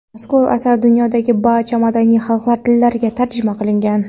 Mazkur asar dunyodagi barcha madaniy xalqlar tillariga tarjima qilingan.